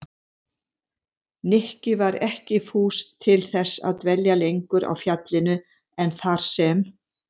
Nikki var ekki fús til þess að dvelja lengur á fjallinu en þar sem